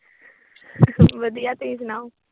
ਵਧੀਆ। ਤੁਸੀਂ ਸੁਣਓ।